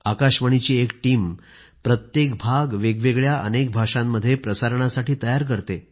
आकाशवाणीची एक टीम प्रत्येक भाग वेगवेगळ्या अनेक भाषांमध्ये प्रसारणासाठी तयार करते